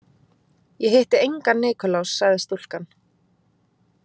Ég hitti engan Nikulás, sagði stúlkan.